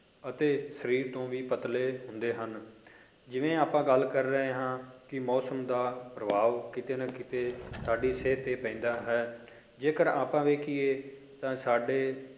ਅਤੇ ਸਰੀਰ ਤੋਂ ਵੀ ਪਤਲੇ ਹੁੰਦੇ ਹਨ, ਜਿਵੇਂ ਆਪਾਂ ਗੱਲ ਕਰ ਰਹੇ ਹਾਂ ਕਿ ਮੌਸਮ ਦਾ ਪ੍ਰਭਾਵ ਕਿਤੇ ਨਾ ਕਿਤੇ ਸਾਡੀ ਸਿਹਤ ਤੇ ਪੈਂਦਾ ਹੈ ਜੇਕਰ ਆਪਾਂ ਵੇਖੀਏ ਤਾਂ ਸਾਡੇ